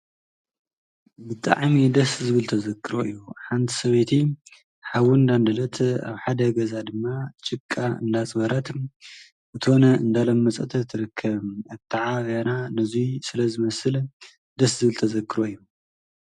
ብጣዕሚ ደስ ዝብል ተዘክሮ እዩ ሓንቲ ሰበይቲ ሓዊ እንዳንደደት ኣብ ሓደ ገዛ ድማ ጭቃ እንዳኣፅበረት እቶን እንዳለመፀት ትርከብ አተዓባብያና ነዙይ ስለ ዝመስል ደስ ዝብል ተዘክሮ እዩ::